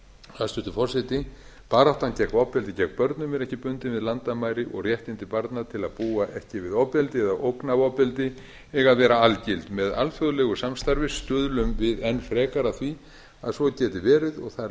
hæstvirtur forseti baráttan gegn ofbeldi gegn börnum er ekki bundin við landamæri og réttindi barna til að búa ekki við ofbeldi eða ógn af ofbeldi eiga að vera algild með alþjóðlegu samstarfi stuðlum við enn frekar að því að svo geti verið þær lagabreytingar sem